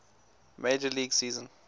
major league season